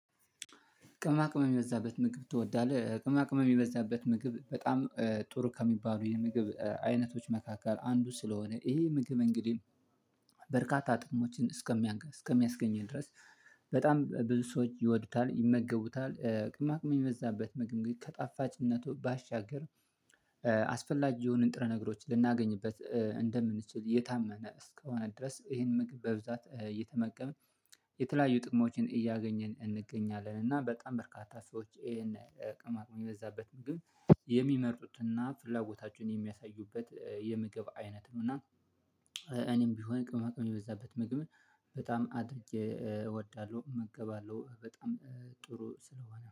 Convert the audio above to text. ቅመማ ቅመም የሚበዛበት ምግብ ትወዳለህ? ቅመማ ቅመም የበዛበት ምግብ በጣም ጥሩ ከሚባሉ የምግብ አይነቶች መካከል አንዱ ስለሆነ ይሄ ምግብ እንግዲህ። በርካታ ጥቅሞችን እስከሚያስገኘን ድረስ በጣም ብዙ ሰዎች ይወዱታል ይመገቡታል ቅማቅም የሚመዛበት ምግብ ግን ከጣፋጭነቱ ባሻገር። አስፈላጊ የሆኑ ንጥረ ነገሮች ልናገኝበት እንደምንችል የታመነ እስከሆነ ድረስ ይሄን ምግብ በብዛት እየተመቀመ የተለያዩ ጥቅሞችን እያገኘን እንገኛለን። እና በጣም በርካታ ሰዎች ይሄን ቅመማት የበዛበትን ግን የሚመርጡት እና ፍላጎታቸውን የሚያሳዩበት የምግብ አይነት ነው እና። እኔም ቢሆን ቅመማ ቅመም የበዛበት ምግብ በጣም አድርጌ እወዳለሁ እመገባለሁ በጣም ጥሩ ስለሆነ